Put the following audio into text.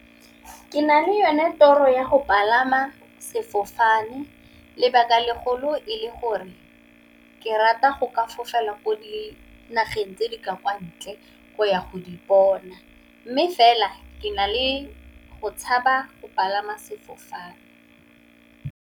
Ke na le yone toro ya go palama sefofane lebaka legolo e le gore ke rata go ka fofela ko dinageng tse di kwa ntle go ya go di bona. Mme, fela ke na le go tshaba go palama sefofane.